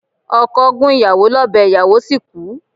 Okọ̀ gún ìyàwó lọ́bẹ̀ ìyàwó sì kú.